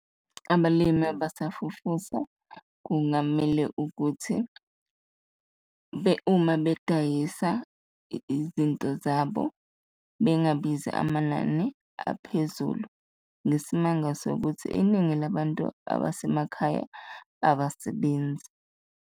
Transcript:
Abalimi abasafufusa kungamele ukuthi uma bedayisa izinto zabo bengabizi amanani aphezulu, ngesimanga sokuthi iningi labantu abasemakhaya abasebenzi.